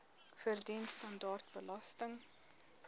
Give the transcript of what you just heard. verdien standaard belasting